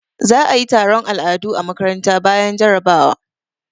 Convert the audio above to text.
Za a yi taron al'adu a makaranta bayan jarabawa.